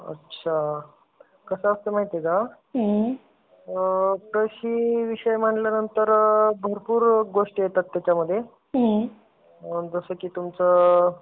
अच्छा कसं असतं माहिती एका कृषी म्हंटल की भरपूर विषय येतात त्याच्यामध्ये. जसं की तुमचा